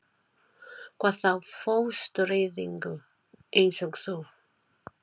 Hvað þá fóstureyðingu- eins og þú.